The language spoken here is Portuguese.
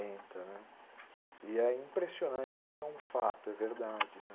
né. E é impressionante que isso é um fato, é verdade.